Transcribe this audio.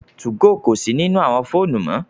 2go kò si nínú àwọn fóònù mọ